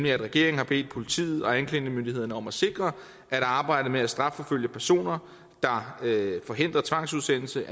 at regeringen har bedt politiet og anklagemyndigheden om at sikre at arbejdet med at strafforfølge personer der forhindrer tvangsudsendelse